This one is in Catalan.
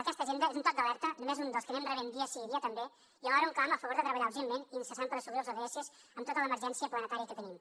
aquesta agenda és un toc d’alerta només un dels que anem rebent dia sí dia també i alhora un clam a favor de treballar urgentment i incessant per assolir els ods amb tota l’emergència planetària que tenim